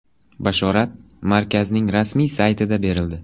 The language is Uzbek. Bashorat markazning rasmiy sayti da berildi.